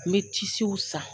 N bɛ tisiw san.